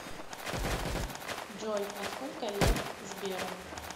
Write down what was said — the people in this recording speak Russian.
джой а сколько лет сберу